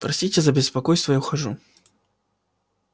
простите за беспокойство я ухожу